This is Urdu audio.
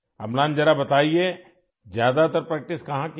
املان ذرا یہ بتاؤ کہ تم نے زیادہ تر مشق کہاں کی!